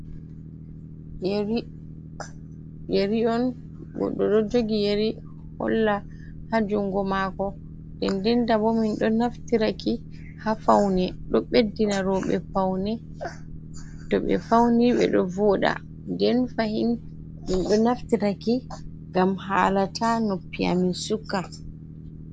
Yeri on, goɗɗo ɗo jogi yeri holla haa junngo maako ,ndendenta bo, min ɗo naftiraki haa fawne, ɗo ɓeddina rowɓe ,to ɓe fawni ɓe ɗo vooɗa. Nden fahin min ɗo naftiraki ngam haala ta noppi a min sukka.